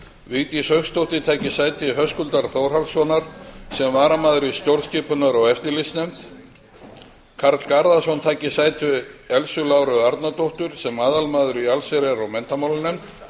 vigdís hauksdóttir taki sæti höskuldar þórhallssonar sem varamaður í stjórnskipunar og eftirlitsnefnd karl garðarsson taki sæti elsu láru arnardóttur sem aðalmaður í allsherjar og menntamálanefnd